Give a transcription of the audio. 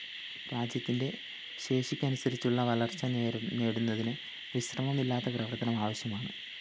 രാജ്യത്തിന്റെ ശേഷിക്കനുസരിച്ചുള്ള വളര്‍ച്ച നേടുന്നതിന് വിശ്രമമില്ലാത്ത പ്രവര്‍ത്തനം ആവശ്യമാണ്